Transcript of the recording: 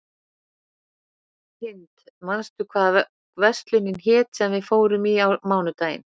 Hind, manstu hvað verslunin hét sem við fórum í á mánudaginn?